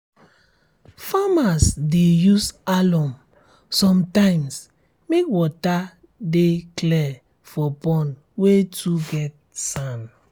farmers dey use alum sometimes make water de clear for pond wey too get sand